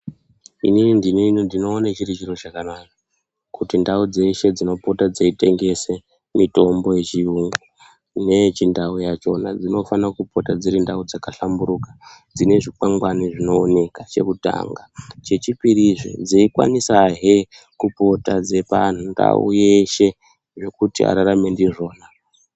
Inini ndine ndinoone chiri chiro chakanaka kuti ndau dzeshe Dzinota dzeitwngese mutbo yechiyungu neyechindau yakhona dzinofana kupota dziri ndau dzakahlamburuka dzine zvikwangwani zvinooneka chekutanga chechipiri zve dzeikwanisahe kupota anhu ndau yeshe yekuti ararame ndizvona.